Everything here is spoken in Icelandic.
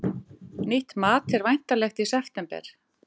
Nýtt mat er væntanlegt í september